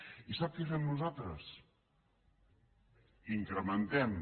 i sap què fem nosaltres incrementem